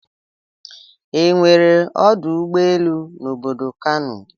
E nwere ọdụ ụgbọ elu n'obodo Kano.